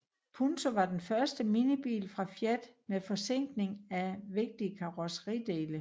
Punto var den første minibil fra Fiat med forzinkning af vigtige karrosseridele